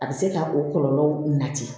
A bɛ se ka o kɔlɔlɔ nati